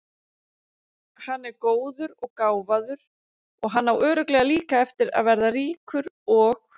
Hann er góður og gáfaður og hann á örugglega líka eftir að verða ríkur og.